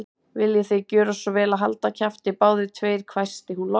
Viljiði gjöra svo vel að halda kjafti, báðir tveir hvæsti hún loks.